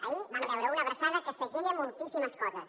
ahir vam veure una abraçada que segella moltíssimes coses